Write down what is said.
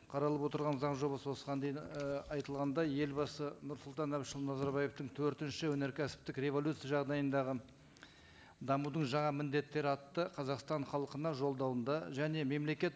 қаралып отырған заң жобасы осыған дейін і айтылғандай елбасы нұрсұлтан әбішұлы назарбаевтың төртінші өнеркәсіптік революция жағдайындағы дамудың жаңа міндеттері атты қазақстан халқына жолдауында және мемлекет